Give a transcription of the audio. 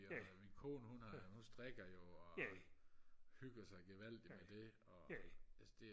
jo og min kone hun har hun strikker jo og hygger sig gevaldigt med det og altså det